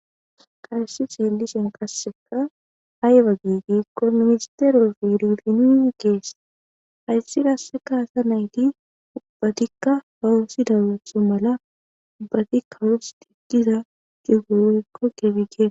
Hays delish qaseka ayba gi gikon minstere biro hays qaseka ASA nayt ubbatika ba ootho mala kawos cigiza gira woyko gebe getetes.